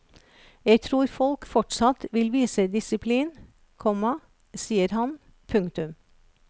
Jeg tror folk fortsatt vil vise disiplin, komma sier han. punktum